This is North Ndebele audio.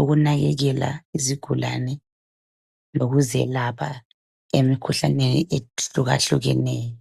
ukunakekela izigulane lokuzelapha emkhuhlaneni ehlukahlukeneyo